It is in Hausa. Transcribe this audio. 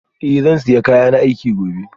Eh zan sa kayana aiki gobe